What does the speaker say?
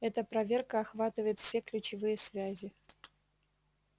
эта проверка охватывает все ключевые связи